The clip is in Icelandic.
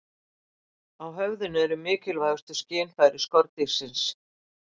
Á höfðinu eru mikilvægustu skynfæri skordýrsins.